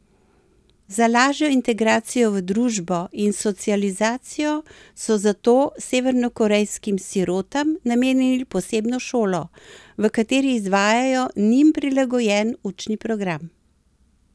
Za lažjo integracijo v družbo in socializacijo so zato severnokorejskim sirotam namenili posebno šolo, v kateri izvajajo njim prilagojen učni program.